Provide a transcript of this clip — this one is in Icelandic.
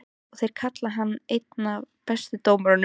Og þeir kalla hann einn af bestu dómurunum?